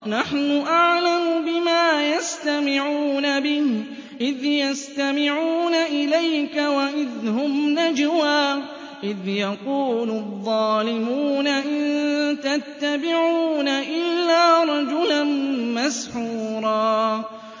نَّحْنُ أَعْلَمُ بِمَا يَسْتَمِعُونَ بِهِ إِذْ يَسْتَمِعُونَ إِلَيْكَ وَإِذْ هُمْ نَجْوَىٰ إِذْ يَقُولُ الظَّالِمُونَ إِن تَتَّبِعُونَ إِلَّا رَجُلًا مَّسْحُورًا